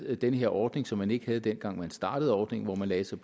med den her ordning som man ikke havde dengang man startede ordningen og man lagde sig